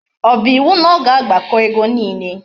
O bu iwu na o ga agbako ego niile?